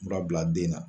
Mura bila den na